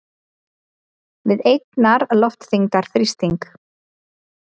við einnar loftþyngdar þrýsting.